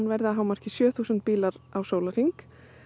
verði að hámarki sjö þúsund bílar á sólarhring